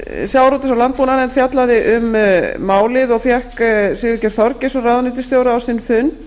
og landbúnaðarnefnd fjallaði um málið og fékk sigurgeir þorgeirsson ráðuneytisstjóra á sinn fund